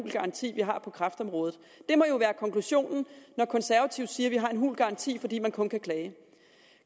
garanti vi har på kræftområdet det må jo være konklusionen når konservative siger at vi har hul garanti fordi man kun kan klage